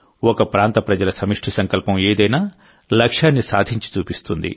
ఒక ప్రాంత ప్రజల సమిష్టి సంకల్పం ఏదైనా లక్ష్యాన్ని సాధించి చూపిస్తుంది